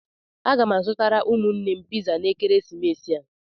Aga m azụtara ụmụnne m piza na ekeresimesi a.